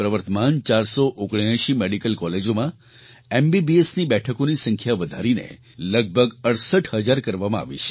દેશની પ્રવર્તમાન 479 મેડિકલ કૉલેજોમાં MBBSની બેઠકોની સંખ્યા વધારીને લગભગ 68 હજાર કરવામાં આવી છે